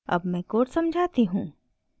अब मैं code समझाती हूँ